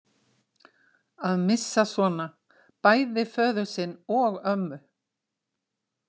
Að missa svona bæði föður sinn og ömmu